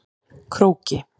Króki